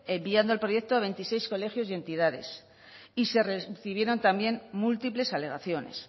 enviando el proyecto a veintiséis colegios y entidades y se recibieron también múltiples alegaciones